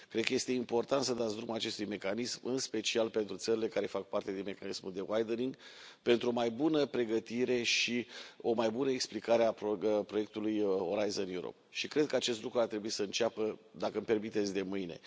Cred că este important să dați drumul acestui mecanism, în special pentru țările care fac parte din mecanismul de widening pentru o mai bună pregătire și o mai bună explicare a proiectului Orizont Europa și cred că acest lucru ar trebui să înceapă, dacă îmi permiteți, de mâine.